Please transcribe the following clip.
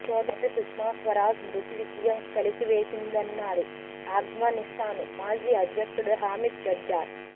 సోదరి సుష్మా స్వరాజ్ మృతి విషయం కలిచివేసిందన్నారు ఆఫ్ఘనిస్తాన్ మాజీ అధ్యక్షుడు హమీద్ కర్జాయ్